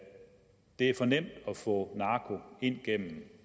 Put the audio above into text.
det er for nemt at få narko ind gennem